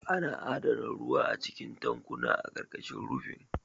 Ana adana ruwa a cikin tankuna a ƙarƙashin rufin.